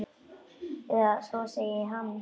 Eða svo segir hann.